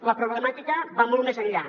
la problemàtica va molt més enllà